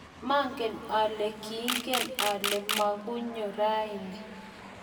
maangen ale kiingen ale mukunyo raini